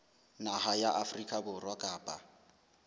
naha ya afrika borwa kapa